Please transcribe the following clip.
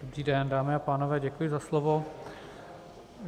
Dobrý den, dámy a pánové, děkuji za slovo.